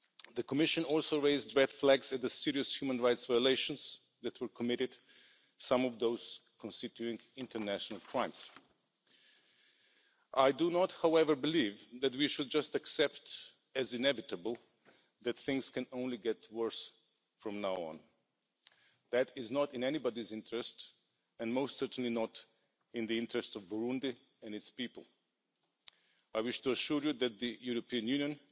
The Commission also raised red flags at the serious human rights violations that were committed, some of them constituting international crimes. I do not, however, believe that we should just accept as inevitable that things can only get worse from now on. That is not in anybody's interests and most certainly not in the interests of Burundi and its people. I wish to assure you that the European Union